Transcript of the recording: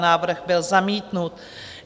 Návrh byl zamítnut.